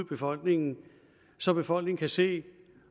befolkningen så befolkningen kan se